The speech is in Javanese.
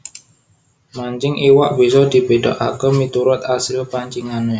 Mancing iwak bisa dibédakaké miturut asil pancingané